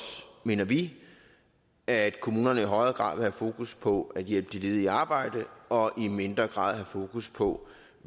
mener vi at kommunerne i højere grad vil have fokus på at hjælpe de ledige i arbejde og i mindre grad have fokus på